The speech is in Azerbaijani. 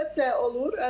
Əlbəttə, olur.